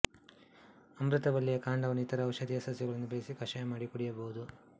ಅಮೃತ ಬಳ್ಳಿಯ ಕಾಂಡವನ್ನು ಇತರ ಔಷಧೀಯ ಸಸ್ಯಗಳೊಂದಿಗೆ ಬೆರೆಸಿ ಕಷಾಯ ಮಾಡಿ ಕುಡಿಯಬಹುದು